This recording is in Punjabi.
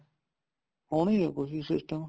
ਹੋਣਗੇ ਕੁੱਝ system